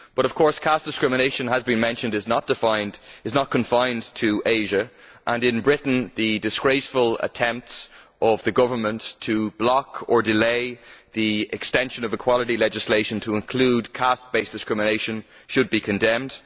But of course caste discrimination, as has been mentioned, is not confined to Asia. In Britain the disgraceful attempts of the government to block or delay the extension of equality legislation to include caste based discrimination should be condemned.